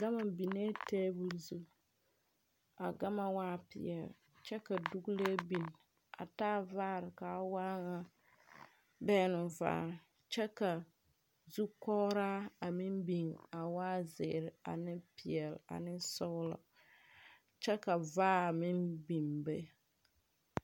Gama binnɛ tabul zu. A gama waa piɛl kyɛ ka duklee bin a taa vaare. Kaa waa na bɛgnu vaare kyɛ ka zugɔraa a meŋ bin a waa ziire ane piɛl ane sɔglɔ. Kyɛ ka vaar miŋ biŋ be